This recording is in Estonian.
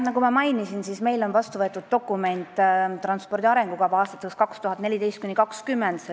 Nagu ma mainisin, meil on see dokument, transpordi arengukava, vastu võetud aastateks 2014–2020.